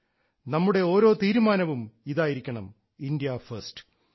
നമ്മുടെ ഓരോ തീരുമാനവും ഇതായിരിക്കണം ഇന്ത്യയാണ് ഒന്നാമത്